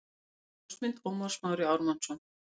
Ljósmynd: Ómar Smári Ármannsson